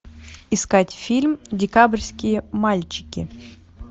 искать фильм декабрьские мальчики